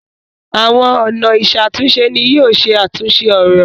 Awọn ọna iṣatunṣe ní yóò ṣe àtúnse òrò.